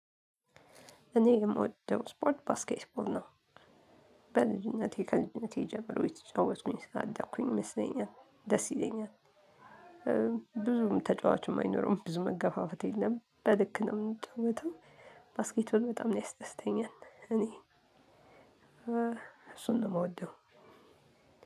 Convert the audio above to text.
እኔ የምወደው ስፖርት ባስኬት ቦል ነው። በልጅነቴ ከልጅነቴ ጀምሮ የተጫወትኩኝ ስላደኩኝ ይመስለኛል፤ ደስ ይለኛል። ብዙም ተጫዋች አይኖርም ብዙ መገፋፈት የለም፤ በልክ ነው የምንጫወተው። ባስኬት በጣም ነው ያስደስተኛል እኔ እሱን ነው የምወደው።